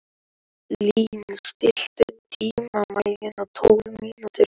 Lín, stilltu tímamælinn á tólf mínútur.